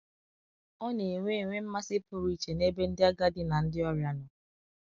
ọ na - enwe enwe mmasị pụrụ iche n’ebe ndị agadi na ndị ọrịa nọ.